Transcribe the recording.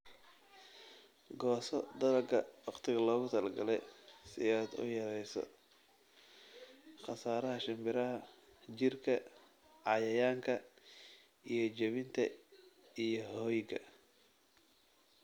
"Gooso dalagga wakhtiga loogu talagalay si aad u yarayso khasaaraha shimbiraha, jiirka, cayayaanka iyo jabinta iyo hoyga."